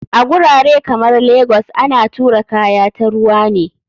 A gurare kamar legas ana tura kaya ta ruwa ne.